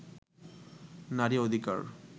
নারী অধিকার